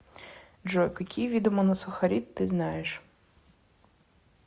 джой какие виды моносахарид ты знаешь